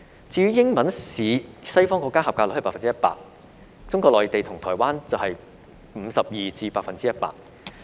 至於英文試，西方國家及格率是 100%； 中國內地和台灣則是 52% 至 100%。